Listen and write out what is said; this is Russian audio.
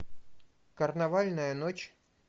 карнавальная ночь